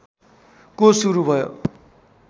को सुरु भयो